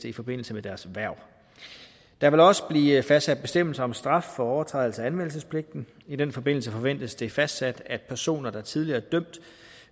i forbindelse med deres hverv der vil også blive fastsat bestemmelser om straf for overtrædelse af anmeldelsespligten i den forbindelse forventes det fastsat at personer der tidligere